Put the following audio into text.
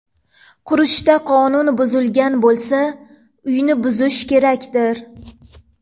Qurishda qonun buzilgan bo‘lsa, uyni buzish kerakdir?